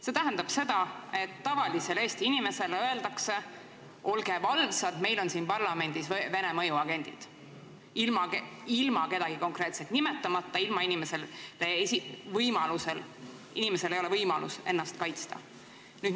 See tähendab seda, et tavalisele Eesti inimesele öeldakse, et olge valvsad, meil on siin parlamendis Vene mõjuagendid, ilma kedagi konkreetselt nimetamata – nii, et inimesel ei ole võimalust ennast kaitsta.